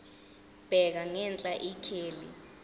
bheka ngenhla ikheli